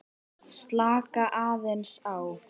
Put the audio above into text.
Slaka aðeins á.